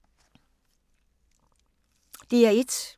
DR1